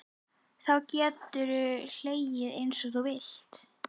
Þá geturðu hlegið einsog þú vilt.